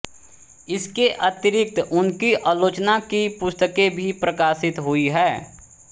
इसके अतिरिक्त उनकी आलोचना की पुस्तकें भी प्रकाशित हुई हैं